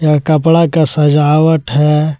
और कपड़ा का सजावट है।